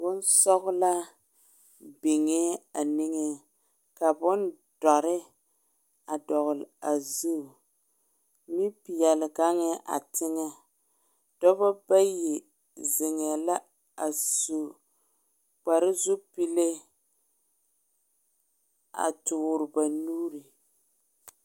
Bonsɔglaa biŋɛ a niŋɛ, ka bondoɔre a dɔgeli a zu bonpɛɛle gaŋɛ a teŋɛ, Dɔba bayi zeŋɛ la a su kpare zupile a tɔɔre ba nuuri